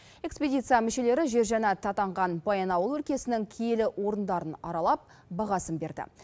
экспедиция мүшелері жер жәннаты атанған баянауыл өлкесінің киелі орындарын аралап бағасын берді